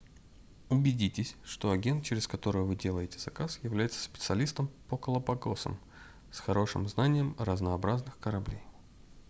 убедитесь что агент через которого вы делаете заказ является специалистом по галапагосам с хорошим знанием разнообразных кораблей